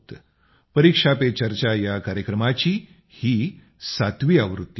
परीक्षा पे चर्चा या कार्यक्रमाची ही सातवी आवृत्ती असणार आहे